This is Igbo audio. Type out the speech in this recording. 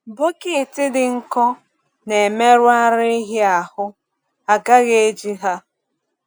Bọket dị nkọ na-emerụ ara ehi ahụ, a gaghị eji ha.